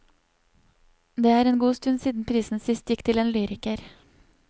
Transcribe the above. Det en god stund siden prisen sist gikk til en lyriker.